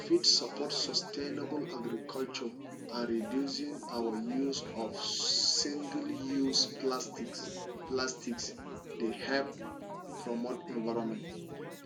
you fit support sustainable agriculture and reducing our use of singleuse plastics plastics dey help promote environment